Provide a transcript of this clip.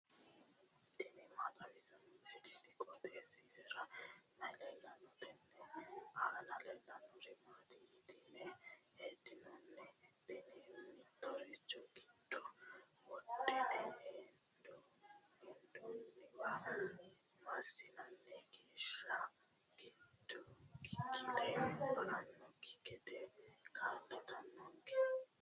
tini maa xawissanno misileeti? qooxeessisera may leellanno? tenne aana leellannori maati yitine heddinanni? Tini mittoricho giddo wodhine hendoonniwa massina geeshsha giggile ba"annokki gede kaa'litannonke.